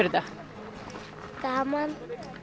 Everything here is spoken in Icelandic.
þetta gaman